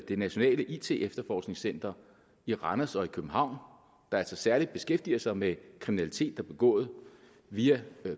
det nationale it efterforskningscenter i randers og i københavn der altså særlig beskæftiger sig med kriminalitet der er begået via